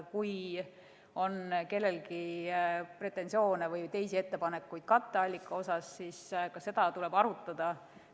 Kui on kellelgi pretensioone või teisi ettepanekuid katteallika kohta, siis ka seda tuleb arutada.